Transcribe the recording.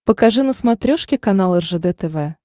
покажи на смотрешке канал ржд тв